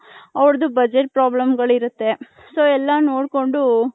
ಅವರದು budget problem ಗಳು ಇರುತ್ತೆ so ಎಲ್ಲಾ ನೋಡ್ಕೊಂಡು .